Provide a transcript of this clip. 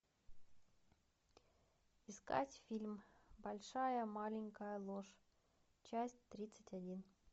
искать фильм большая маленькая ложь часть тридцать один